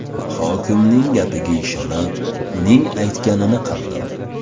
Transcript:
Hokimning gapiga ishonib, uning aytganini qildim.